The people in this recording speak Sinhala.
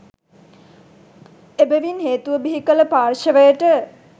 එබැවින් හේතුව බිහිකල පාර්ෂවයට